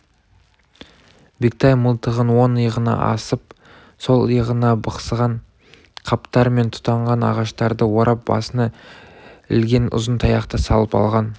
бектай мылтығын оң иығына асып сол иығына бықсыған қаптар мен тұтанған ағаштарды орап басына ілген ұзын таяқты салып алған